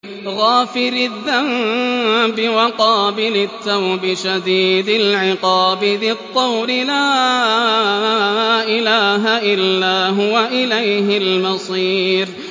غَافِرِ الذَّنبِ وَقَابِلِ التَّوْبِ شَدِيدِ الْعِقَابِ ذِي الطَّوْلِ ۖ لَا إِلَٰهَ إِلَّا هُوَ ۖ إِلَيْهِ الْمَصِيرُ